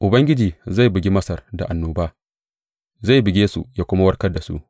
Ubangiji zai bugi Masar da annoba; zai buge su ya kuma warkar da su.